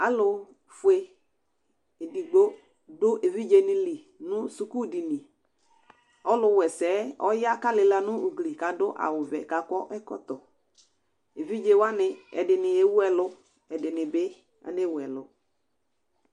Alʋ fue edigbo dʋ evidze nɩ li nʋ sukudiniƆlʋ wa ɛsɛ ɔya kʋ alɩla nʋ ugli kʋ adʋ awʋ vɛ kʋ akɔ ɛkɔtɔEvidze wanɩ, ɛdɩnɩ ewu ɛlʋ, ɛdɩnɩ bɩ ane wu ɛlʋ